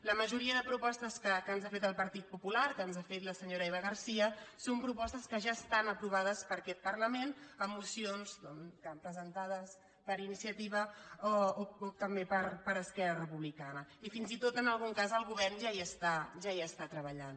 la majoria de propostes que ens ha fet el partit popu·lar que ens ha fet la senyora eva garcía són propos·tes que ja estan aprovades per aquest parlament en mocions presentades per iniciativa o també per es·querra republicana i fins i tot en algun cas el go·vern ja hi està treballant